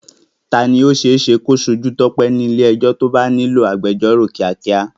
Ta ni ó ṣe é ṣe kí ó ṣojú Tope ní ilé ẹjọ́ tí ó bá nílò agbẹjọ́rò kíákíá?